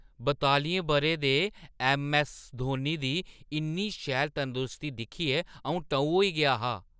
बतालियें ब‘रें दे ऐम्म.ऐस्स. धोनी दी इन्नी शैल तंदरुस्ती दिक्खियै अ‘ऊं टऊ होई गेआ हा ।